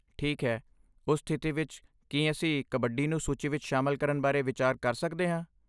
ਠੀਕ ਹੈ, ਉਸ ਸਥਿਤੀ ਵਿੱਚ, ਕੀ ਅਸੀਂ ਕਬੱਡੀ ਨੂੰ ਸੂਚੀ ਵਿੱਚ ਸ਼ਾਮਲ ਕਰਨ ਬਾਰੇ ਵਿਚਾਰ ਕਰ ਸਕਦੇ ਹਾਂ?